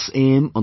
From 6 a